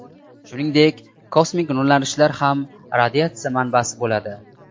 Shuningdek, kosmik nurlanishlar ham radiatsiya manbasi bo‘ladi.